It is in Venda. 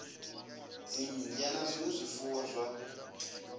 dzimmbwa na zwinwe zwifuwo zwa